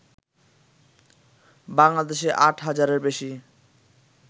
বাংলাদেশে আট হাজারের বেশি